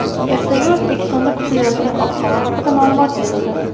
Ertaga O‘zbekistonda kutilayotgan ob-havo haqida ma’lumot berildi.